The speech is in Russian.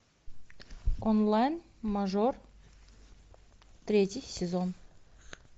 онлайн мажор третий сезон